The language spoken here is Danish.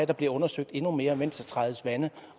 der bliver undersøgt endnu mere mens der trædes vande